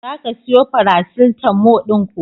Za ka siyo farasitalmo ɗin kuwa?